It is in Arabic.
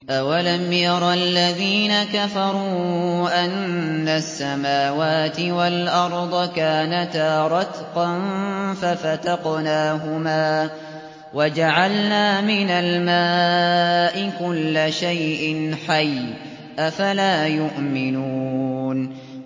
أَوَلَمْ يَرَ الَّذِينَ كَفَرُوا أَنَّ السَّمَاوَاتِ وَالْأَرْضَ كَانَتَا رَتْقًا فَفَتَقْنَاهُمَا ۖ وَجَعَلْنَا مِنَ الْمَاءِ كُلَّ شَيْءٍ حَيٍّ ۖ أَفَلَا يُؤْمِنُونَ